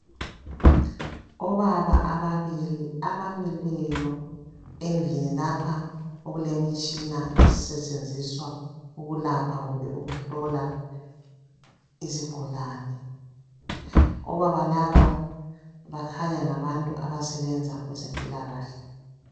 Obaba ababili abamileyo endlini lapha okulemitshina esetshenziswa ukulapha kumbe ukuhlola izigulane. Obaba laba kukhanya ngabantu abasebenza kwezempilakahle.